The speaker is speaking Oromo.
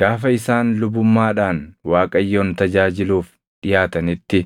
Gaafa isaan lubummaadhaan Waaqayyoon tajaajiluuf dhiʼaatanitti